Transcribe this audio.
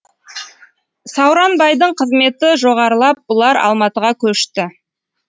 сауранбайдың қызметі жоғарылап бұлар алматыға көшті